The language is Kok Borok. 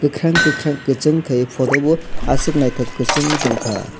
kwkhwrang kwkhwrang kwchung khaiui photo bo aswk naithok kwchung ungtong kha.